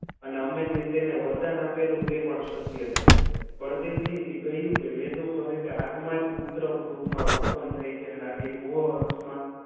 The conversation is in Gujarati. અને અમે જે તેને વરદાન આપેલું તે પણ સભ્ય થાય બળદેવજીએ કહ્યું કે વેદો કહે કે આત્મા જ ઉત્તમ રૂપમાં ઉત્તમ ઉત્પન્ન થઈ છે આનાથી રો અર્થમાં